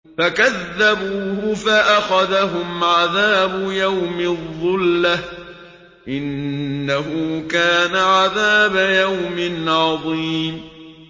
فَكَذَّبُوهُ فَأَخَذَهُمْ عَذَابُ يَوْمِ الظُّلَّةِ ۚ إِنَّهُ كَانَ عَذَابَ يَوْمٍ عَظِيمٍ